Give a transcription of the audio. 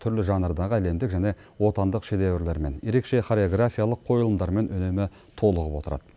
түрлі жанрдағы әлемдік және отандық шедеврлермен ерекше хореографиялық қойылымдармен үнемі толығып отырады